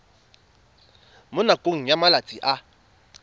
mo nakong ya malatsi a